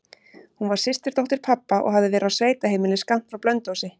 Hún var systurdóttir pabba og hafði verið á sveitaheimili skammt frá Blönduósi.